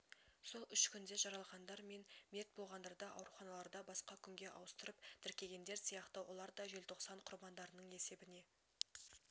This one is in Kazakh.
сол үш күнде жараланғандар мен мерт болғандарды ауруханаларда басқа күнге ауыстырып тіркегендер сияқты олар да желтоқсан құрбандарының есебіне